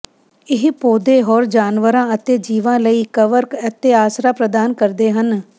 ਇਹ ਪੌਦੇ ਹੋਰ ਜਾਨਵਰਾਂ ਅਤੇ ਜੀਵਾਂ ਲਈ ਕਵਰ ਅਤੇ ਆਸਰਾ ਪ੍ਰਦਾਨ ਕਰਦੇ ਹਨ